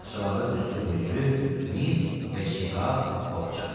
Taxçalarda düzülüb mücrü, mis və çini qab, boxça.